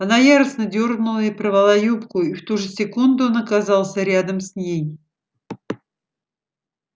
она яростно дёрнула и порвала юбку и в ту же секунду он оказался рядом с ней